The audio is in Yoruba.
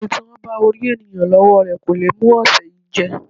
Ẹní tí wọ́n bá orí ènìyàn lọ́wọ́ rẹ kò le mú ọ̀sẹ̀ yìí jẹ́.